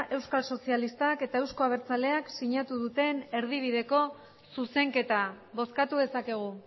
euskal sozialistak eta euzko abertzaleak sinatu duten erdibideko zuzenketa bozkatu dezakegu